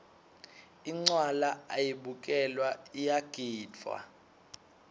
incwala ayibukelwa iyagidvwa